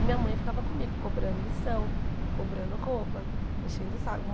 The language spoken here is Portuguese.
E minha mãe ficava comigo, cobrando lição, cobrando roupa, enchendo o saco.